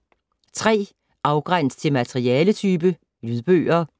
3. Afgræns til materialetype: lydbøger